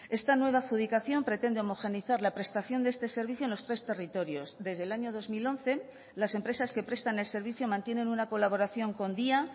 esta nueva adjudicación pretende homogenizar la prestación de este servicio en los tres territorios desde el año dos mil once las empresas que prestan el servicio mantienen una colaboración con dya